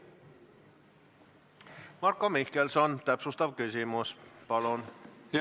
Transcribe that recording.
Marko Mihkelson, täpsustav küsimus, palun!